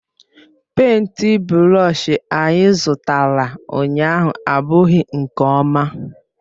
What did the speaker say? Pèịnt brọsh anyị zụtara ụnyahụ abụghị nke ọma.